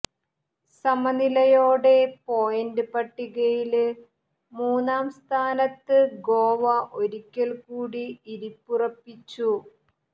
സമനിലയോടെ point പട്ടികയില് മൂന്നാം സ്ഥാനത്ത് ഗോവ ഒരിക്കല്ക്കൂടി ഇരിപ്പുറപ്പിച്ചു